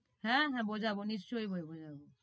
হ্যাঁ, হ্যাঁ বোঝাবো নিশ্চই বোঝানো যাবে।